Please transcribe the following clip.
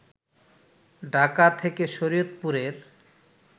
ঢাকা থেকে শরিয়তপুরের